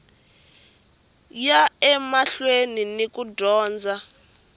ya emahlweni ni ku dyondza